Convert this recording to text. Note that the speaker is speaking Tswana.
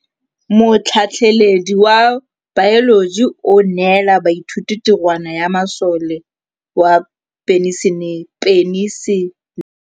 Motlhatlhaledi wa baeloji o neela baithuti tirwana ya mosola wa peniselene.